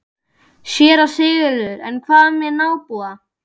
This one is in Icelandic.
SÉRA SIGURÐUR: En hvað með nábúa.